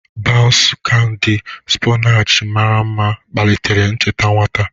Baunsu, kandi spornchi mara mma, kpalitere ncheta nwata.